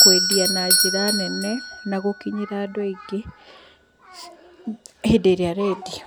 kwendia na njĩra nene na gũkinyĩra andũ aingĩ hĩndĩ ĩrĩa arendia.